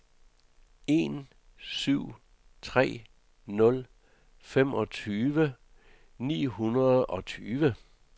en syv tre nul femogtyve ni hundrede og tyve